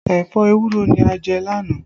Ẹ̀fọ́ ewúro ni a jẹ lánàá